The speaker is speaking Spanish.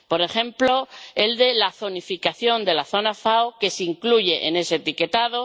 Por ejemplo, el de la zonificación de la FAO que se incluye en ese etiquetado.